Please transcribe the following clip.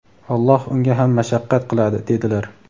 Alloh unga ham mashaqqat qiladi", - dedilar".